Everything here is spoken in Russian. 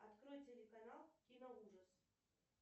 открой телеканал кино ужас